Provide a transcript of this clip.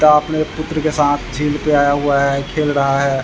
पिता अपने पुत्र के साथ झील पे आया हुआ है खेल रहा है।